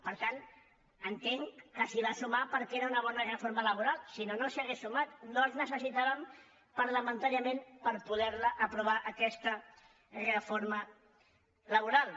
per tant entenc que s’hi va sumar perquè era una bona reforma laboral si no no s’hi hauria sumat no els necessità·vem parlamentàriament per poder·la aprovar aquesta reforma laboral